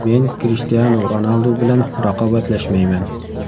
Men Krishtianu Ronaldu bilan raqobatlashmayman.